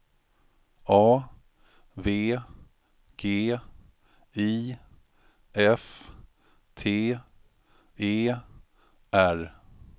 A V G I F T E R